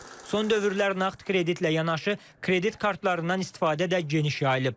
Son dövrlər nağd kreditlə yanaşı kredit kartlarından istifadə də geniş yayılıb.